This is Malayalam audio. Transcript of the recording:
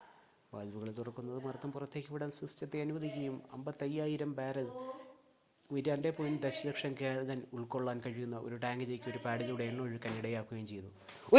വാൽവുകൾ തുറക്കുന്നത് മർദ്ദം പുറത്തേക്ക് വിടാൻ സിസ്റ്റത്തെ അനുവദിക്കുകയും 55,000 ബാരൽ 2.3 ദശലക്ഷം ഗാലൻ ഉള്‍ക്കൊള്ളാൻ കഴിയുന്ന ഒരു ടാങ്കിലേക്ക് ഒരു പാഡിലൂടെ എണ്ണ ഒഴുകാൻ ഇടയാക്കുകയും ചെയ്തു